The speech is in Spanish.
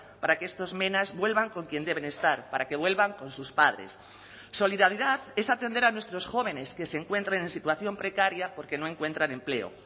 para que estos menas vuelvan con quien deben estar para que vuelvan con sus padres solidaridad es atender a nuestros jóvenes que se encuentren en situación precaria porque no encuentran empleo